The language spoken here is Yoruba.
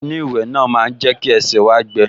Ẹní ìwẹ̀ náà máa jẹ́ kí ẹsẹ̀ wá gbẹ